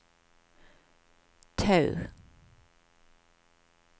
Tau